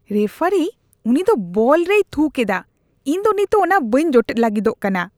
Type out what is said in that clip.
ᱨᱮᱯᱷᱟᱨᱤ, ᱩᱱᱤ ᱫᱚ ᱵᱚᱞ ᱨᱮᱭ ᱛᱷᱩ ᱠᱮᱫᱟ ᱾ ᱤᱧ ᱫᱚ ᱱᱤᱛᱚᱜ ᱚᱱᱟ ᱵᱟᱹᱧ ᱡᱚᱴᱮᱫ ᱞᱟᱹᱜᱤᱫᱚᱜ ᱠᱟᱱᱟ ᱾